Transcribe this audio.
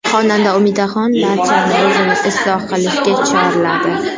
Xonanda Umidaxon barchani o‘zini isloh qilishga chorladi.